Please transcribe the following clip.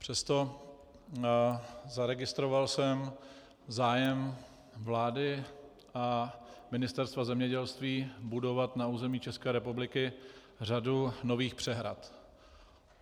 Přesto, zaregistroval jsem zájem vlády a Ministerstva zemědělství budovat na území České republiky řadu nových přehrad.